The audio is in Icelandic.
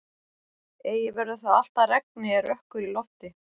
Eigi verður það allt að regni er rökkur í lofti.